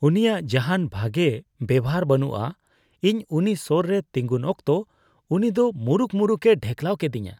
ᱩᱱᱤᱭᱟᱜ ᱡᱟᱦᱟᱱ ᱵᱷᱟᱜᱮ ᱵᱮᱣᱦᱟᱨ ᱵᱟᱹᱱᱩᱜᱼᱟ ᱾ ᱤᱧ ᱩᱱᱤ ᱥᱳᱨ ᱨᱮ ᱛᱮᱸᱜᱚᱱ ᱚᱠᱛᱚ ᱩᱱᱤ ᱫᱚ ᱢᱩᱨᱩᱠ ᱢᱩᱨᱩᱠᱼᱮ ᱰᱷᱮᱠᱞᱟᱣ ᱠᱮᱫᱤᱧᱟ ᱾